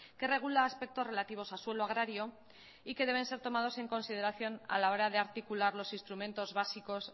que regula aspectos relativos a suelo agrario y que deben ser tomados en consideración a la hora de articular los instrumentos básicos